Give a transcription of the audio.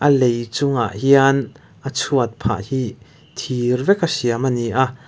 lei chungah hian a chhuat phah hi thir vek a siam a ni a.